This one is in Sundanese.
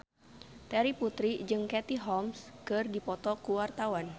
Terry Putri jeung Katie Holmes keur dipoto ku wartawan